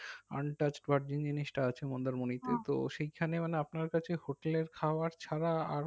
untouch virgin জিনিসটা আছে মন্দারমণীতে তো সেখানেও না আপনার কাছে hotel এর খাওয়ার ছাড়া আর